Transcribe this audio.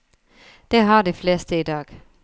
Det har de fleste i dag.